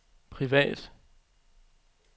privat